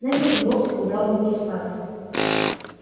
невилл и вовсе убрал руки с парты